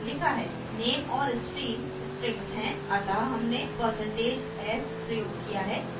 name और stream strings हैं अतः हमने % s प्रयोग किया है